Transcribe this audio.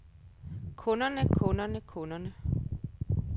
kunderne kunderne kunderne